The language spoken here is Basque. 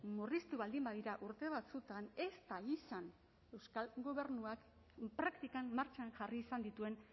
murriztu baldin badira urte batzuetan ez da izan euskal gobernuak praktikan martxan jarri izan dituen